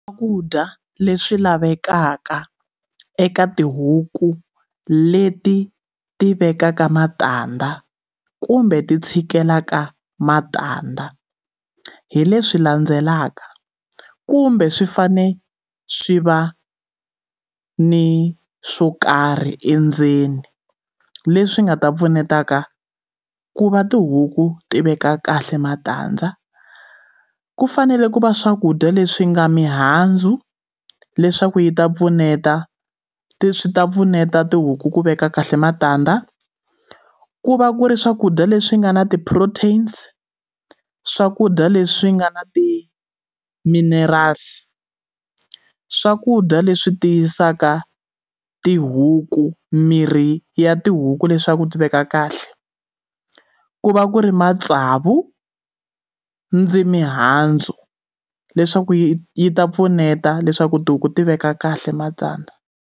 Swakudya leswi lavekaka eka tihuku leti ti vekaka matandza kumbe ti tshikelaka matandza hi leswi landzelaka kumbe swi fane swi va ni swo karhi endzeni leswi nga ta pfuneta ka ku va tihuku ti veka kahle matandza ku fanele ku va swakudya leswi nga mihandzu leswaku yi ta pfuneta swi ta pfuneta tihuku ku veka kahle matandza ku va ku ri swakudya leswi nga na ti-proteins swakudya leswi nga na ti-mineral's swakudya leswi tiyisaka tihuku mirhi ya tihuku leswaku ti veka kahle ku va ku ri matsavu ndzi mihandzu leswaku yi yi ta pfuneta leswaku tihuku ti veka kahle matandza.